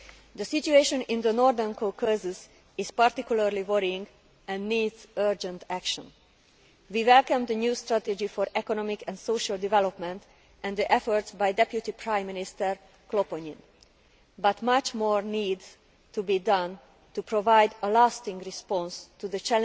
The situation in the Northern Caucasus is particularly worrying and needs urgent action. We welcome the new strategy for economic and social development and the efforts by Deputy Prime Minister Khloponin, but much more needs to be done to provide a lasting response to the